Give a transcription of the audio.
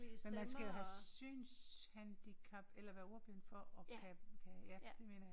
Men skal jo have synshandicap eller være ordblind for at kunne kunne ja mener jeg